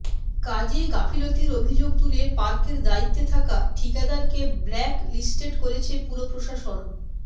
কাজে গাফিলতির অভিযোগ তুলে পার্কের দায়িত্বে থাকা ঠিকাদারকে ব্ল্যাকলিস্টেড করেছে পুরপ্রশাসন